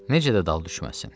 Necə də dal düşməsin?